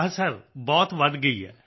ਹਾਂ ਸਰ ਬਹੁਤ ਵਧ ਗਈ ਹੈ